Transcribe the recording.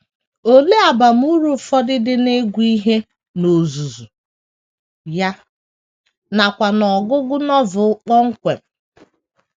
Olee abamuru ụfọdụ dị n’ịgụ ihe n’ozuzu ya, nakwa n’ọgụgụ Novel kpọmkwem?